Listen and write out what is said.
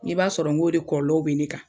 N k'i b'a sɔrɔ n k'o de kɔlɔlɔw bɛ ne kan.